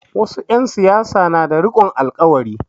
Wasu 'yan siyasa na da rikon alƙawari.